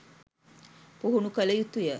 පුහුණු කළ යුතු ය